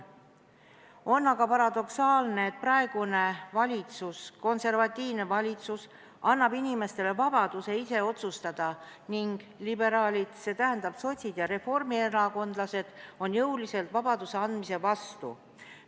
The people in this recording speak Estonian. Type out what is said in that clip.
On aga paradoksaalne, et praegune konservatiivne valitsus annab inimestele vabaduse ise otsustada ning liberaalid, st sotsid ja reformierakondlased, on jõuliselt vabaduse andmise vastu.